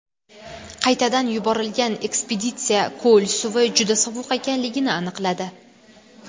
Qaytadan yuborilgan ekspeditsiya ko‘l suvi juda sovuq ekanligini aniqladi.